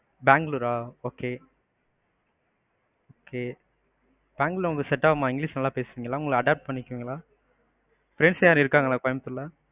பெங்களூரு ஆ okay okay Bengaluru உங்களுக்கு set ஆகுமா, english நல்லா பேசுவீங்களா, உங்கள adopt பண்ணிக்குவீங்களா? friends யாரும் இருக்காங்களா கோயம்புத்தூர்ல?